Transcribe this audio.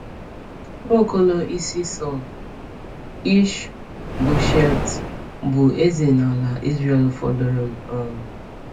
Nwa Okolo Isi Sàụl, Ish-bosheth, bụ eze n’ala Izrel fọdụrụ. um